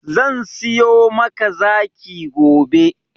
Zan siyo maka zaki gobe.